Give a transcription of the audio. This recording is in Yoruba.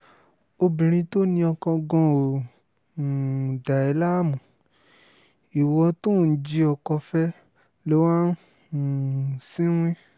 obìnrin tó ní oko gan-an ò um dà ẹ́ láàmú ìwo tó ò ń jí ọkọ fẹ́ ló wáá um ń sìnwìn